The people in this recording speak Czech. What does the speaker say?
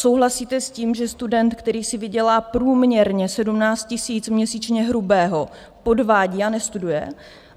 Souhlasíte s tím, že student, který si vydělá průměrně 17 000 měsíčně hrubého, podvádí a nestuduje?